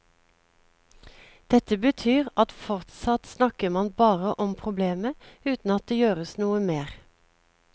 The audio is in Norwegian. Dette betyr at fortsatt snakker man bare om problemet uten at det gjøres noe mer.